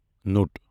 توٚٹ